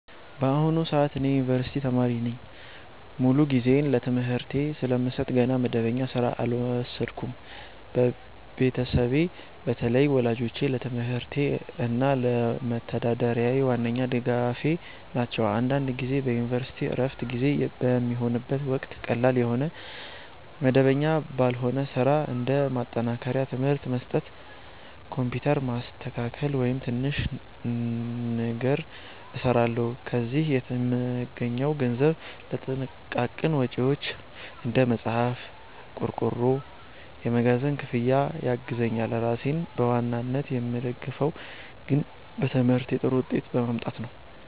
በአሁኑ ሰዓት እኔ የዩኒቨርሲቲ ተማሪ ነኝ። ሙሉ ጊዜዬን ለትምህርቴ ስለምሰጥ ገና መደበኛ ሥራ አልወሰድኩም። ቤተሰቤ፣ በተለይ ወላጆቼ፣ ለትምህርቴ እና ለመተዳደሪያዬ ዋነኛ ድጋፌ ናቸው። አንዳንድ ጊዜ በዩኒቨርሲቲ ዕረፍት ጊዜ በሚሆንበት ወቅት ቀላል የሆነ መደበኛ ባልሆነ ሥራ (እንደ ማጠናከሪያ ትምህርት መስጠት፣ ኮምፒውተር ማስተካከያ፣ ወይም ትንሽ ንግድ) እሰራለሁ። ከዚህ የምገኘው ገንዘብ ለጥቃቅን ወጪዎቼ (እንደ መጽሐፍ፣ ቆርቆሮ፣ የመጓጓዣ ክፍያ) ያግዘኛል። ራሴን በዋናነት የምደግፈው ግን በትምህርቴ ጥሩ ውጤት በማምጣት ነው።